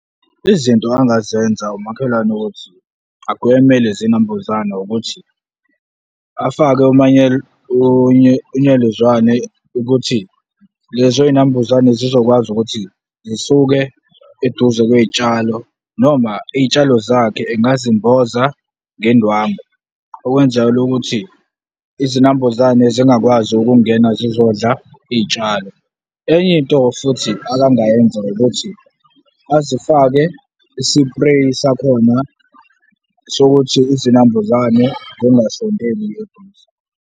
Izinto angazenza umakhelwane ukuthi agweme lezi zinambuzane ukuthi, afake unyelezwane ukuthi lezo zinambuzane zizokwazi ukuthi zisuke eduze kwezitshalo noma izitshalo zakhe engazi mboza ngendwangu, okwenzakala ukuthi izinambuzane zingakwazi ukungena zizodla izitshalo. Enye into futhi abangayenza ukuthi azifake isipreyi sakhona sokuthi izinambuzane zingasondeli eduze.